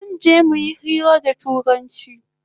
Zanje muyi hira da turanchi